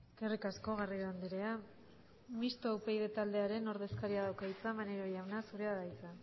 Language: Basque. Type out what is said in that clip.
eskerrik asko garrido andrea mistoa upyd taldearen ordezkariak dauka hitza maneiro jauna zurea da hitza